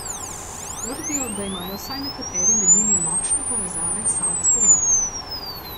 Trdijo, da imajo vsaj nekateri med njimi močne povezave s savdsko vlado.